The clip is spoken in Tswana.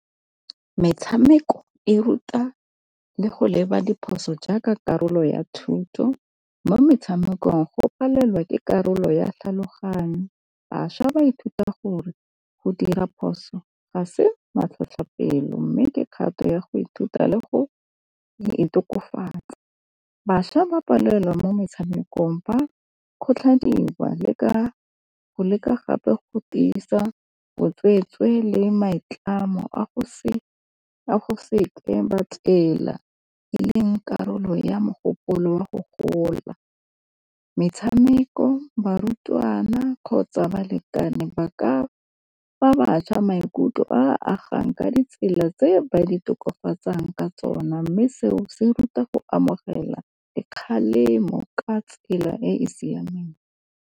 Metshameko e ruta le go leba diphoso jaaka karolo ya thuto. Mo metshamekong go palelwa ke karolo ya tlhaloganyo. Bašwa ba ithuta gore go dira phoso ga se matlhotlhapelo mme ke kgato ya go ithuta le go itokafatsa. Bašwa ba palelwa mo metshamekong ba kgothadiwa le ka go leka gape go tiisa botswetswe le maitlamo a go se go seke ba tsela le neng karolo ya mogopolo wa go gola. Metshameko barutwana kgotsa balekane ba ka fa bašwa maikutlo a agang ka ditsela tse ba di tokafatsang ka tsona mme seo se ruta go amogela le kgalemo ka tsela e e siameng.